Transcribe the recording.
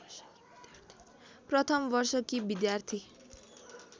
प्रथम वर्षकी विद्यार्थी